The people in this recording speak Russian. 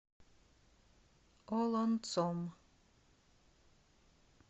олонцом